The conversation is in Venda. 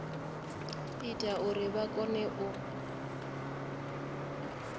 ita uri vha kone u